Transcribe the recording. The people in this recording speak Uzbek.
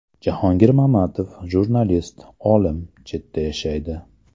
Jahongir Mamatov, jurnalist, olim, chetda yashaydi.